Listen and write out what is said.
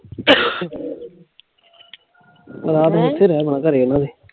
ਰਾਤ ਦਿਨ ਅਹ ਏਥੇ ਰਜਨਾ ਘਰੇ ਇੰਨਾ ਨੇਈ